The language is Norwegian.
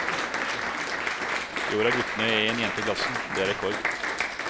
I år har guttene én jente i klassen, det er rekord.